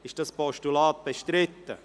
Ist das Postulat bestritten?